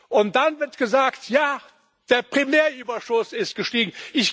Und dann wird gesagt Ja, der Primärüberschuss ist gestiegen.